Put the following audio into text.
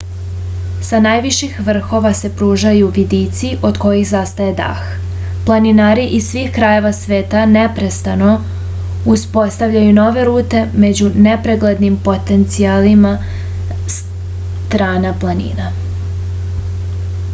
sa najviših vrhova se pružaju vidici od kojih zastaje dah planinari iz svih krajeva sveta neprestano uspostavljaju nove rute među nepreglednim potencijalima strana planine